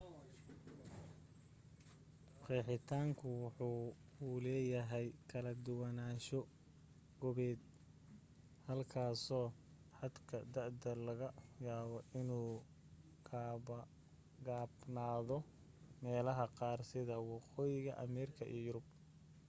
qeexitaanku waxa uu leeyahay kala duwanaansho goobeed halkaaso xadka da'da laga yaabo inuu gaabnaado meelaha qaar sida waqooyiga ameerika iyo yurub